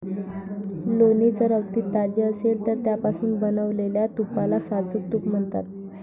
लोणी जर अगदी ताजे असेल तर त्यापासून बनवलेल्या तुपाला साजूक तूप म्हणतात.